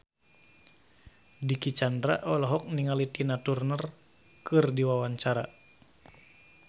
Dicky Chandra olohok ningali Tina Turner keur diwawancara